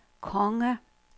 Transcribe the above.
konge